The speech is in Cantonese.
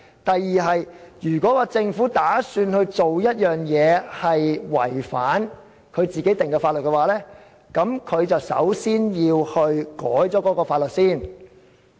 第二，如果政府打算做違反自己所制定的法律的事，首先便要修改有關法例。